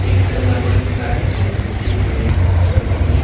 एक तल्ला बन चुका है और दूसरी तल दूसरी --